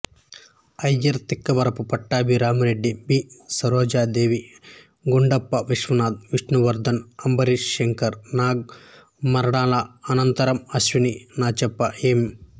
Iyer Tikkavarapu Pattabhiramireddy B Sarojadevi Gundappa Vishwanath Vishnuvardhan Ambareesh Shankar Nag మరణానంతరం అశ్వని నాచప్ప ఎం